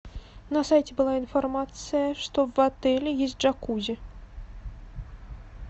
на сайте была информация что в отеле есть джакузи